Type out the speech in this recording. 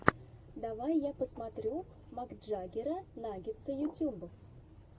давай я посмотрю макджаггера наггетса ютюб